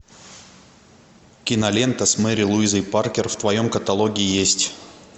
кинолента с мэри луизой паркер в твоем каталоге есть